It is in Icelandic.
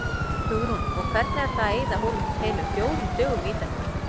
Hugrún: Og hvernig er það að eyða heilum fjórum dögum í þetta?